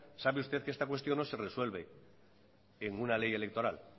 sabe usted que esta cuestión no se resuelve en una ley electoral